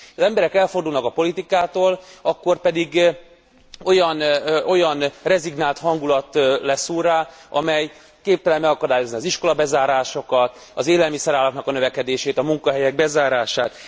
Ha az emberek elfordulnak a politikától, akkor pedig olyan rezignált hangulat lesz úrrá, amely képtelen megakadályozni az iskolabezárásokat, az élelmiszeráraknak a növekedését, a munkahelyek bezárását.